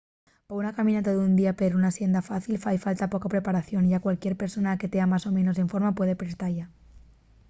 pa una caminata d’un día per una sienda fácil fai falta poca preparación y a cualquier persona que tea más o menos en forma puede presta-y